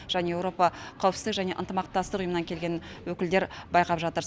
және еуропа қауіпсіздік және ынтымақтастық ұйымынан келген өкілдер байқап жатыр